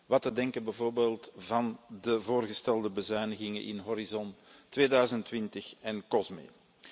Wat te denken van bijvoorbeeld de voorgestelde bezuinigingen in Horizon 2020 en Cosme?